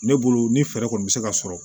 Ne bolo ni fɛɛrɛ kɔni bɛ se ka sɔrɔ